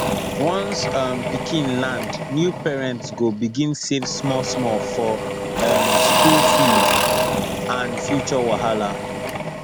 once um pikin land new parents go begin save smallsmall for um school fee and future wahala